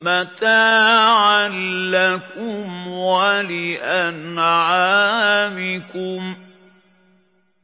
مَتَاعًا لَّكُمْ وَلِأَنْعَامِكُمْ